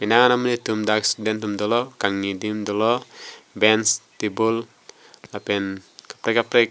monit atum dak student atum dolo kangni adim dolo bench table lapen kaprek kaprek--